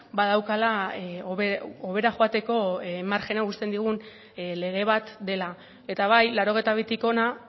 badaukala hobera joateko marjina uzten digun lege bat dela eta bai laurogeita bitik hona